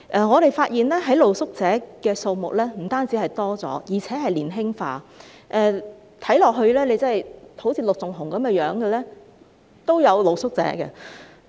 我們發現露宿者的數目不僅增加，而且年輕化，有些露宿者的衣着外表更好像陸頌雄議員般。